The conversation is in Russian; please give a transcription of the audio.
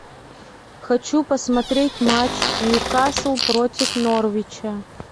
хочу посмотреть матч ньюкасл против норвича